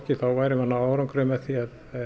þá værum við að ná árangri því